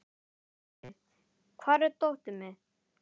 Leivi, hvar er dótið mitt?